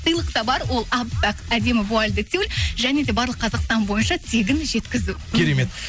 сыйлық та бар ол әппақ әдемі вуальді тюль және де барлық қазақстан бойынша тегін жеткізу керемет